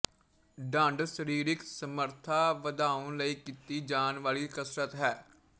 ਡੰਡ ਸਰੀਰਕ ਸਮਰੱਥਾ ਵਧਾਉਣ ਲਈ ਕੀਤੀ ਜਾਣ ਵਾਲੀ ਕਸਰਤ ਹੈ